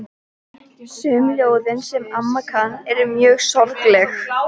Sum ljóðin, sem amma kann, eru mjög sorgleg.